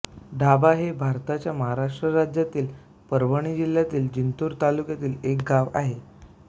डाभा हे भारताच्या महाराष्ट्र राज्यातील परभणी जिल्ह्यातील जिंतूर तालुक्यातील एक गाव आहे